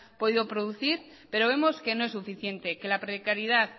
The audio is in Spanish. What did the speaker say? podido producir pero vemos que no es suficiente que la precariedad